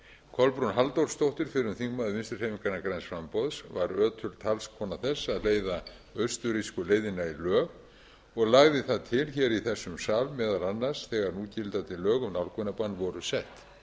kolbrún halldórsdóttir fyrrum þingmaður vinstri hreyfingarinnar græns framboðs var ötul talskona þess að leiða austurrísku leiðina í lög og lagði það til hér í þessum sal meðal annars þegar núgildandi lög um nálgunarbann voru sett